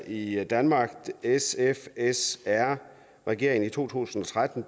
i danmark da srsf regeringen i to tusind og tretten